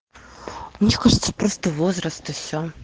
мне кажется просто возраст и все